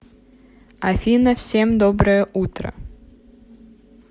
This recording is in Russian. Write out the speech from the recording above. афина всем доброе утро